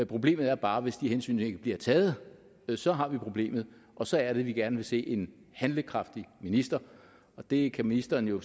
problemet er bare hvis de hensyn ikke bliver taget så har vi problemet og så er det vi gerne vil se en handlekraftig minister det kan ministeren jo